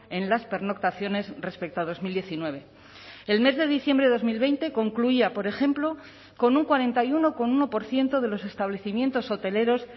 en las pernoctaciones respecto a dos mil diecinueve el mes de diciembre de dos mil veinte concluía por ejemplo con un cuarenta y uno coma uno por ciento de los establecimientos hoteleros